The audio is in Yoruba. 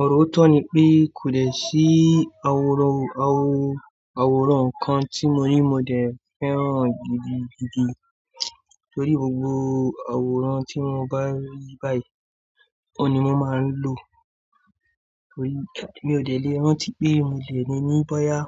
Òróró tọ́ ni pé kò dẹ̀ sí àwòrán, àwò, àwòrán kan tí mo rí mo dẹ̀ fẹ́ràn gidigidi torí gbogbo àwòrán tí mo bá rí báyìí òun ni mo máa ń lò. Torí mi ò dẹ̀ lé rántí pé mo dẹ̀ níni bóyá